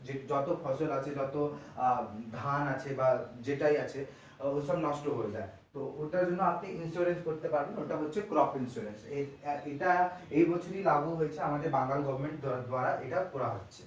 যত ফসল আছে যতধান আছে বা যেটাই আছে ওগুলো সব নষ্ট করে দেয় তো ওটার জন্য আপনি insurance করতে পারেন ওটা হচ্ছে crop insurance এটা এই বছরি লাঘু হয়েছে আমাদের বাংলা government করা হচ্ছে।